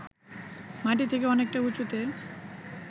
মাটি থেকে অনেকটা উঁচুতে